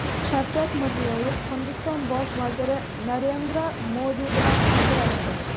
Shavkat Mirziyoyev Hindiston bosh vaziri Narendra Modi bilan uchrashdi.